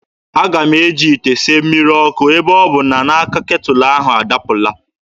Aga m eji ite sie mmiri ọkụ ebe ọ bụ na aka ketụlụ ahụ adapụla.